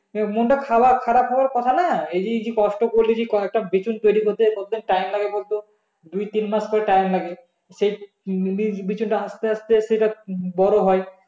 মনটা খারাপ খারাপ হওয়ার কথা না এই যে কষ্ট করে কয়েকটা বীজ তৈরি করতে কতদিন time লাগে বলতো দুই তিন মাস করে time লাগে সেই বীজ তা আসতে আসতে সেটা বড়ো হয়